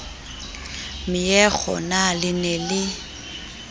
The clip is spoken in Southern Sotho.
meokgo na le ne le